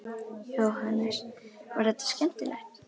Jóhannes: Var þetta skemmtilegt?